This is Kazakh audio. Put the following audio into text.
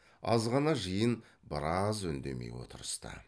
азғана жиын біраз үндемей отырысты